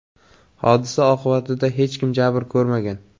Hodisa oqibatida hech kim jabr ko‘rmagan.